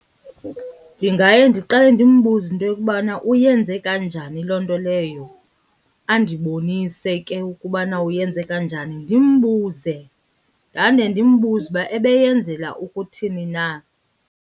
Ndingaye ndiqale ndimbuze into yokubana uyenze kanjani loo nto leyo, andibonise ke ukubana uyenze kanjani. Ndimbuze ndande ndimbuze uba ebeyenzela ukuthini na.